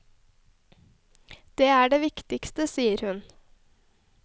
Det er det viktigste, sier hun.